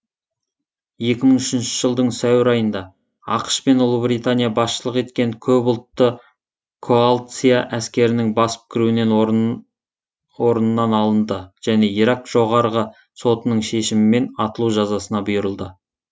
екі мың үшінші жылдың сәуір айында ақш пен ұлыбритания басшылық еткен көпұлтты коалция әскерінің басып кіруінен орнынан алынды және ирак жоғарғы сотының шешімімен атылу жазасына бұйырылды